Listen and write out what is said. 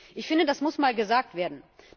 Ich finde, dass muss mal gesagt werden.